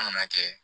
An kana kɛ